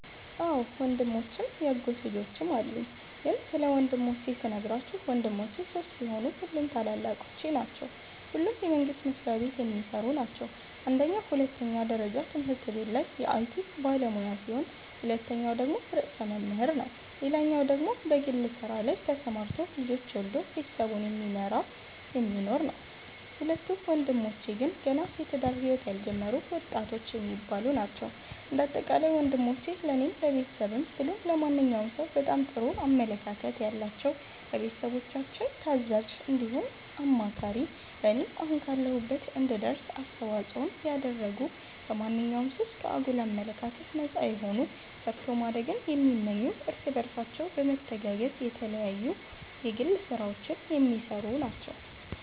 አዎ ወንድሞችም ያጎት ልጆችም አሉኝ ስለ ግን ስለ ወንድሞቼ ስነግራችሁ ወንድሞቼ ሶስት ሲሆኑ ሁሉም ታላላቆቼ ናቸዉ ሁለቱ የመንግስት መስሪያቤት የሚሰሩ ናቸው አንደኛዉ ሁለተኛ ደረጃ ትምህርት ቤት ላይ የአይቲ ባለሙያ ሲሆን ሁለተኛዉ ደግሞ ርዕሰ መምህር ነዉ ሌላኛዉ ወንድሜ በግል ስራ ላይ ተሰማርቶ ልጆች ወልዶ ቤተሰቡን እየመራ የሚኖር ነዉ። ሁለቱ ወንድሞቼ ግን ገና የትዳር ህይወት ያልጀመሩ ወጣቶች የሚባሉ ናቸዉ። እንደ አጠቃላይ ወንሞቼ ለኔም ለቤተሰብም ብሎም ለማንኛዉም ሰዉ በጣም ጥሩ አመለካከት ያላቸዉ፣ ለቤተሰቦቻችን ታዛዥ እንዲሁም አማካሪ ለኔም አሁን ካለሁበት እንድደርስ አስተዋፅኦን ያደረጉ ከማንኛዉም ሱስ፣ ከአጉል አመለካከት ነፃ የሆኑ ሰርቶ ማደግን የሚመኙ እርስ በርሳቸው በመተጋገዝ የተለያዩ የግል ስራዎች የሚሰሩ ናቸዉ።